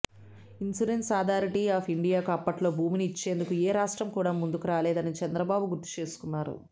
insurance authority of ఇండియాకు అప్పట్లో భూమిని ఇచ్చేందుకు ఏ రాష్ట్రం కూడా ముందుకు రాలేదని చంద్రబాబు గుర్తుచేసుకున్నారు